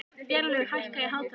Vélaug, hækkaðu í hátalaranum.